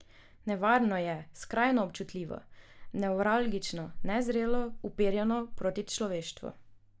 Nevarno je, skrajno občutljivo, nevralgično, nezrelo, uperjeno proti človeštvu.